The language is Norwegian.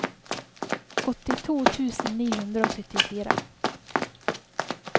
åttito tusen ni hundre og syttifire